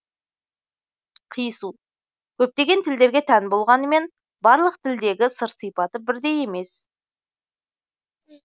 қиысу көптеген тілдерге тән болғанымен барлық тілдегі сыр сипаты бірдей емес